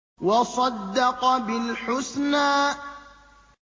وَصَدَّقَ بِالْحُسْنَىٰ